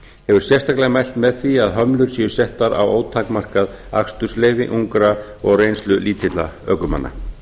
hefur sérstaklega mælt með því að hömlur séu settar á ótakmarkað akstursleyfi ungra og reynslulítilla ökumanna